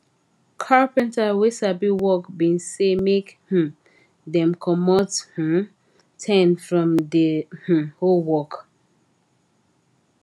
carpenta wey sabi work been say make um dem comot um ten from the um whole work